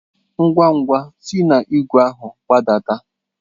Ngwa-ngwa si na igwe ahụ gbadata!